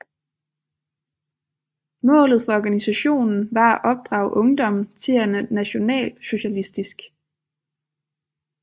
Målet for organisationen var at opdrage ungdommen til at være nationalsocialistisk